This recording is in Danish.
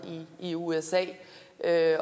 i usa